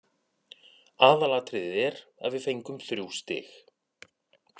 Aðalatriðið er að við fengum þrjú stig.